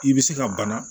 I bɛ se ka bana